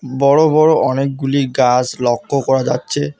বড়ো বড়ো অনেকগুলি গাস লক্ষ্য করা যাচ্ছে।